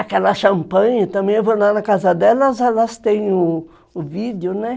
Aquela champanhe também, eu vou lá na casa delas, elas têm o vídeo, né?